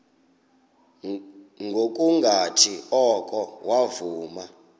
ngokungathi oko wavuma